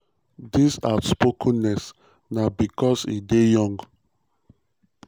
dis outspokenness na bicos e dey young".